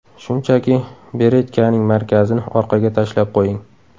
Shunchaki beretkaning markazini orqaga tashlab qo‘ying.